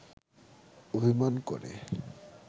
অভিমান করে